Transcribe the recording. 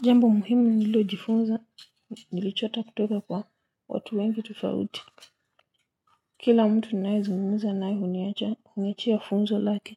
Jambo muhimu nililojifunza nilichota kutoka kwa watu wengi tofauti kila mtu ninayezungumza naye huniacha huniachia funzo lake